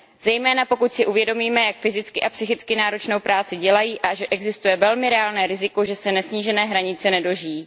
Zejména pokud si uvědomíme, jak fyzicky i psychicky náročnou práci dělají a že existuje velmi reálné riziko, že se nesnížené hranice nedožijí.